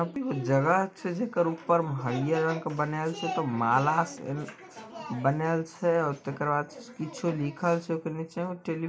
जगह छै जकड़ ऊपर में हरियर रंग के बनाएल छै माला से---- ]